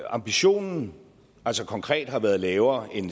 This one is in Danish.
ambitionen altså konkret har været lavere end